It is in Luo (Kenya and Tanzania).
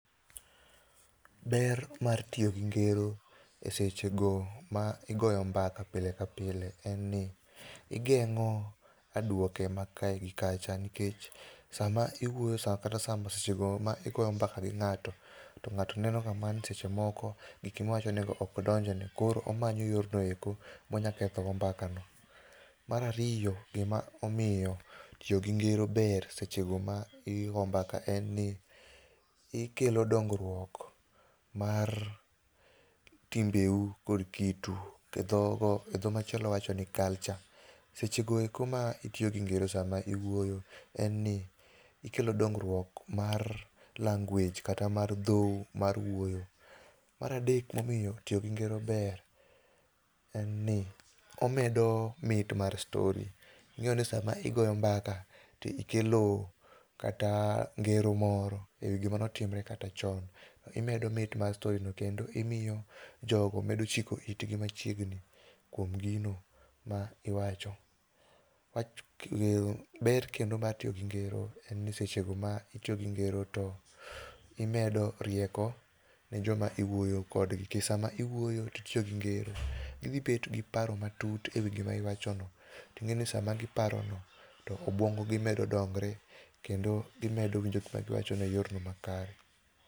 Ber mar tiyo gi ngero e sechego ma igoyo mbaka pile ka pile en ni, igeng'o adwoke ma kae gi kacha nikech sama iwuoyo kata seche go ma igo mbaka gi ng'ato, to ng'ato neno ga mana ni seche moko giki miwachonego ok donjne, koro omanyo yorno eko monyalo kethogo mbakano. Mar ariyo, gima omiyo tiyo gi ngero ber seche go ma igo mbaka en ni ikelo dongruok mar timbewu kod kit u. e dho machielo wachoni ni culture. Sechego eko ma itiyo gi ngero sama iwuoyo, en ni ikelo dongruok mar language kata mar dhowu mar wuoyo . Mar adek momiyo tiyo gi ngero ber, en ni omedo mit mar story sama igoyo mbaka to ikelo kata ngero moro e wi gima notimre kata chon, imedo mit mar story no ,kendo imiyo jogo medo chiko itgi machiegni kuom gino ma iwacho. Ber kendo mar tiyo gi ngero en ni seche go ma itiyo gi ngero to imedo rieko ne joma iwuoyo kodgi nikech sama iwuoyo titiyo gi ngero, gidhibet gi paro matut e wi gima iwachono. Ting'e ni sama giparono, to obwongo gi medo dongre kendo gimedo winjo gima iwachono e yorno makare.